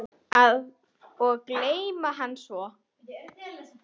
Og geyma hana svo.